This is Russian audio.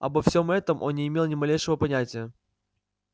обо всем этом он не имел ни малейшего понятия